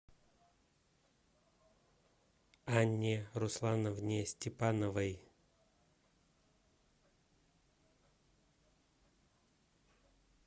анне руслановне степановой